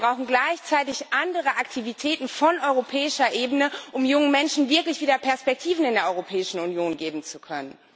Aber wir brauchen gleichzeitig andere Aktivitäten von europäischer Ebene, um jungen Menschen wirklich wieder Perspektiven in der Europäischen Union geben zu können.